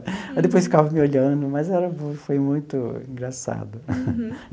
Aí depois ficava me olhando, mas era foi muito engraçado. Uhum.